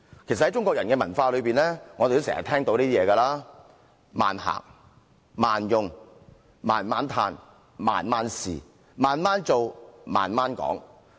其實，在中國人的文化裏，我們經常也聽到類似的說法："慢行"、"慢用"、慢慢歎"、"慢慢試"、"慢慢做"、"慢慢講"等。